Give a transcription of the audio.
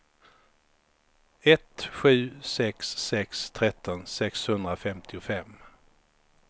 ett sju sex sex tretton sexhundrafemtiofem